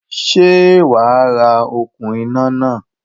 Sé wàá ra okún iná náà?